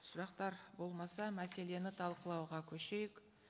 сұрақтар болмаса мәселені талқылауға көшейік